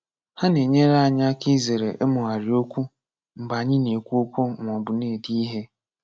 Ha na-enyere anyị aka izere ịmụgharị okwu mgbe anyị na-ekwu okwu maọbụ na-ede ihe.